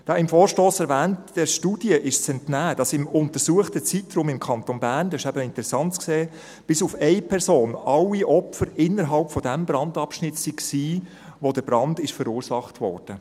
Der im Vorstoss erwähnten Studie ist zu entnehmen, dass sich im untersuchten Zeitraum im Kanton Bern bis auf eine Person alle Opfer innerhalb jenes Brandabschnitts befanden, wo der Brand verursacht wurde.